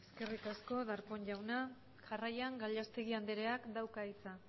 eskerrik asko darpón jaunak jarraian gallastegui andrea dauka hitza